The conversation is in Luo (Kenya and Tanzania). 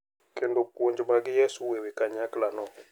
Kendo puonj mag Yesu e wi kanyakla no.